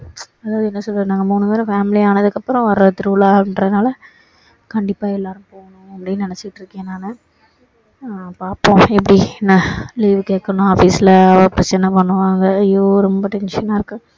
அதாவது என்ன சொல்றது நாங்க மூணு பேரும் family ஆனதுக்கு அப்பறோம் வர்ற திருவிழா அப்படின்றதுனால கண்டிப்பா எல்லாரும் போகணும் அப்படின்னு நினைச்சிட்டு இருக்கேன் நானு ஆஹ் பார்ப்போம எப்படி என்ன leave கேட்கணும் office ல பிரச்சனை பண்ணுவாங்க ஐயோ ரொம்ப tension னா இருக்கு